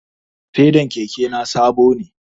Fedan keke na sabo ne